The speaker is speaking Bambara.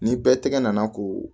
Ni bɛɛ tɛgɛ nana ko